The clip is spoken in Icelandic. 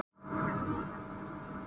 Lundahólum